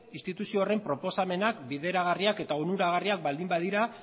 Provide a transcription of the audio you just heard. instituzio horren proposamenak bideragarriak eta onuragarriak baldin badira